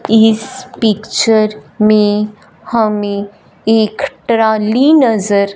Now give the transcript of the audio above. इस पिक्चर में हमें एक ट्राली नजर--